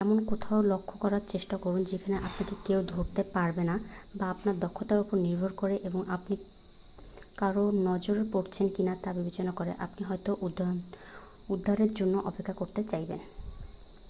এমন কোথাও লক্ষ্য করার চেষ্টা করুন যেখানে আপনাকে কেউ ধরতে পারবে না বা আপনার দক্ষতার উপর নির্ভর করে এবং আপনি কারোর নজরে পড়েছেন কিনা তা বিবেচনা করে আপনি হয়তো উদ্ধারের জন্য অপেক্ষা করতে চাইবেন